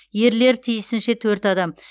ерлер тиісінше төрт адам